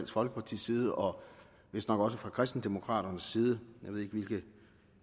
folkepartis side og vist nok også fra kristendemokraternes side jeg ved ikke hvilke